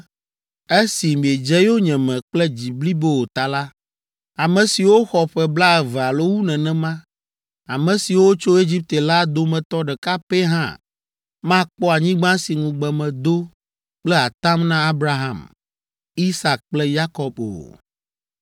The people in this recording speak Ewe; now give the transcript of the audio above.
‘Esi miedze yonyeme kple dzi blibo o ta la, ame siwo xɔ ƒe blaeve alo wu nenema, ame siwo tso Egipte la dometɔ ɖeka pɛ hã makpɔ anyigba si ŋugbe medo kple atam na Abraham, Isak kple Yakob o.